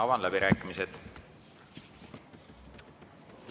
Avan läbirääkimised.